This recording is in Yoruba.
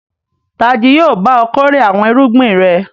Ta jí yóò bá ọ kórè àwọn irúgbìn rẹ?